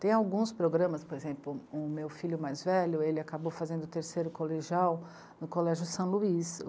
Tem alguns programas, por exemplo, o meu filho mais velho, ele acabou fazendo o terceiro colegial no Colégio São Luís.